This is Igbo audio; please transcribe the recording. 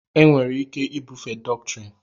enwere ike ibufe dọktrịn